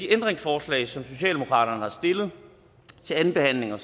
ændringsforslag som socialdemokraterne har stillet til andenbehandlingen